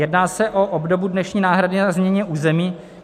Jedná se o obdobu dnešní náhrady za změny území.